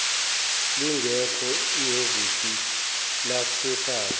lingekho ihhovisi lezasekhaya